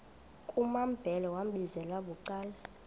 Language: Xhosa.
kumambhele wambizela bucala